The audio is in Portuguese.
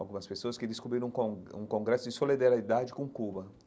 Algumas pessoas que descobriram com um congresso de solidariedade com Cuba.